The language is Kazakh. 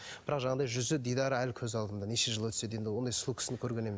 бірақ жаңағыдай жүзі дидары әлі көз алдымда неше жыл өтсе де енді ондай сұлу кісіні көрген